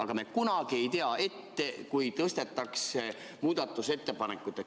Aga me ju kunagi ei tea ette, kas tõstetakse muudatusettepanekuid ringi.